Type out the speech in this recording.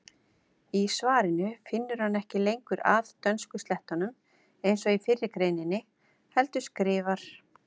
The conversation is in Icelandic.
Í svarinu finnur hann ekki lengur að dönskuslettum eins og í fyrri greininni heldur skrifar: